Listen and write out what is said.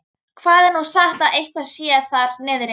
Það er nú sagt að eitthvað sé þar niðri.